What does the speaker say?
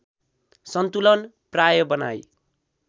सन्तुलन प्राय बनाई